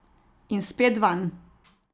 In spet vanj.